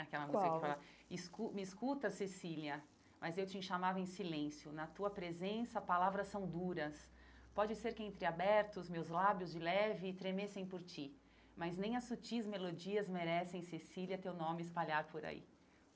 Aquela música qual que fala, escu me escuta Cecília, mas eu te chamava em silêncio, na tua presença palavras são duras, pode ser que entre abertos meus lábios de leve tremessem por ti, mas nem as sutis melodias merecem, Cecília, teu nome espalhar por aí.